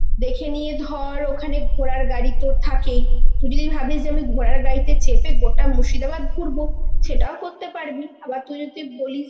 দেখে নিয়ে ধর ওখানে ঘোড়ার গাড়ি তোর থাকেই, তুই যদি ভাবিস যে আমি ঘোড়ার গাড়িতে চেপে গোটা মুর্শিদাবাদ ঘুরব, সেটাও করতে পারবি. আবার তুই যদি বলিস